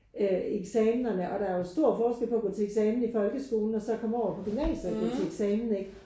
Øh eksamenerne og der er jo stor forskel på at gå til eksamen i folkeskolen og så komme over på gymnasiet og gå til eksamen ikke?